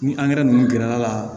Ni angɛrɛ ninnu gɛrɛla ka